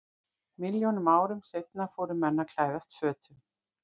Milljónum árum seinna fóru menn að klæðast fötum.